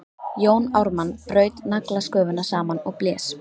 Jón Ármann braut naglasköfuna saman og blés.